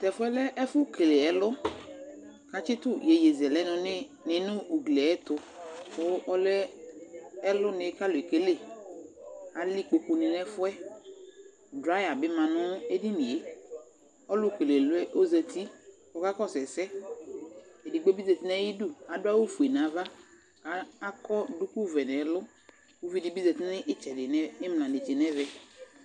Tɛfʊɛ lɛ ɛfʊ kele ɛlɔ, katsɩtʊ ɩyowʊɩzɛlɛ nɩ nʊ ʊglɩ yɛtʊ kʊ ɔlɛ ɛlʊ nɩ kalʊ ekele Alɛ ɩkpokʊ nɩ nɛfʊɛ Drʊaya bɩ ma nʊ edɩnɩe Ɔlʊkeleɛlɔ ɔzatɩ kɔka kɔsʊ ɛsɛ, edɩgbo bɩ zatɩ nʊ ayɩdʊ adʊ awʊ fʊe nava, akɔ dʊkʊ vɛ nɛlʊ Ʊvɩ dɩbɩ zatɩ nɩtsɛdɩ nɩmla netse nɛvɛ